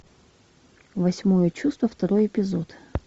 восьмое чувство второй эпизод